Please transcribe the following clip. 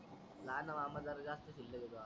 लाहाना माम जर जास्त शील्लक आहे तोवा